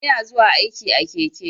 Ina zuwa aiki a keke.